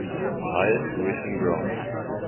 higher tuition grants